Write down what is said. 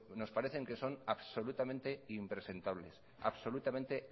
nos parece que son absolutamente impresentables absolutamente